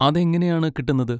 അതെങ്ങനെയാണ് കിട്ടുന്നത്?